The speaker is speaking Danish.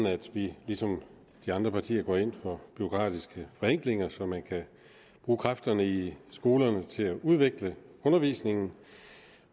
at vi ligesom de andre partier går ind for bureaukratiske forenklinger så man kan bruge kræfterne i skolerne til at udvikle undervisningen